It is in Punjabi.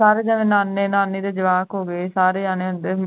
ਸਾਰੇ ਜਣੇ ਨਾਨੇ-ਨਾਨੀ ਦੇ ਜਵਾਕ ਹੋ ਗਏ ਸਾਰੇ ਜਾਣੇ ਏਦਾਂ ਹੀ